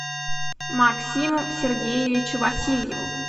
максиму сергеевичу васильеву